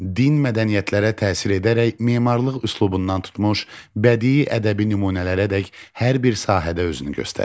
Din mədəniyyətlərə təsir edərək memarlıq üslubundan tutmuş bədii ədəbi nümunələrədək hər bir sahədə özünü göstərir.